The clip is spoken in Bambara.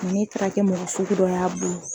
Nga n'e taara kɛ mɔgɔ suku dɔ y'a bolo.